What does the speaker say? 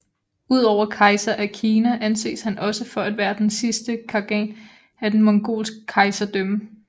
Udover Kejser af Kina anses han også for at være den sidste Khagan af det mongolske kejserdømme